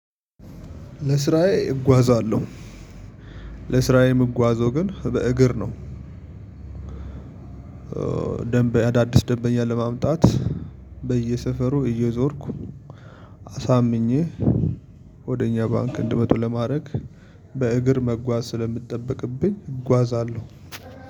ለስራዬ እጓዛለሁ ለስራዬ የምጓዘው ግን በእግር ነው። ደንበኛ አዳዲስ ደንበኛ ለማምጣት በየሰፈሩ እየዞርኩ አሳምኜ ወደ እኛ ባንክ እንዲመጡ ለማድረግ በእግር መጓዝ ስለሚጠብቅብኝ እጓዛለሁ።